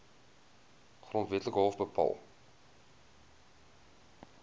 grondwetlike hof bepaal